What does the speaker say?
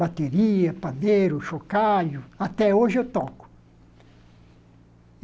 Bateria, pandeiro, chocalho... Até hoje eu toco.